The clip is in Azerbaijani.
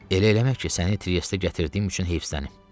Elə eləmə ki, səni Triestə gətirdiyim üçün heyfslənim.